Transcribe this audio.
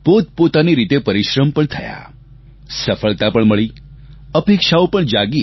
પોતપોતાની રીતે પરિશ્રમ પણ થયા સફળતા પણ મળી અપેક્ષાઓ પણ જાગી